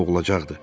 olacaqdı.